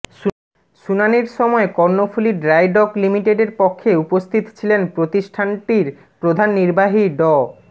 শুনানির সময় Karnaphuli dry dock লিমিটেডের পক্ষে উপস্থিত ছিলেন প্রতিষ্ঠানটির প্রধান নির্বাহী ড